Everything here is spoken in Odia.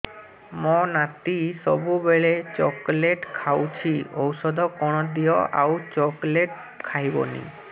ମୋ ନାତି ସବୁବେଳେ ଚକଲେଟ ଖାଉଛି ଔଷଧ କଣ ଦିଅ ଆଉ ଚକଲେଟ ଖାଇବନି